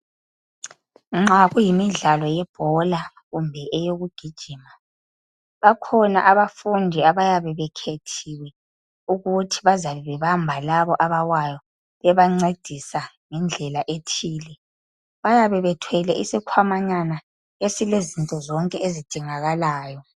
Nxa kuyimidlalo yebhola kumbe eyokugijima bakhona abafundi abayabe bekhethiwe ukuthi bazabe bebamba labo abawayi bebancedisa ngendlela ethile. Bayabe bethwele isikhwamanyana esilezinto zonke ezidingakalayo.